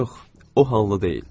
Yox, o halda deyil.